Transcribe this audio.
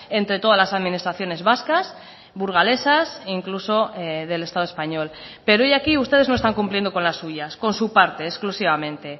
entre todas las administraciones vascas burgalesas incluso del estado español pero hoy aquí ustedes no están cumpliendo con las suyas con su parte exclusivamente